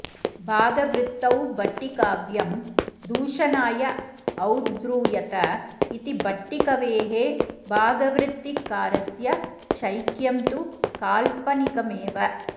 भागवृत्तौ भट्टिकाव्यं दूषणाय औद्धृयत इति भट्टिकवेः भागवृत्तिकारस्य चैक्यं तु काल्पनिकमेव